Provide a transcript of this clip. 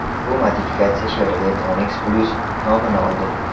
Bu modifikatsiya Chevrolet Onix Plus nomini oldi.